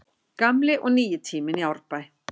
Gamli og nýi tíminn í Árbæ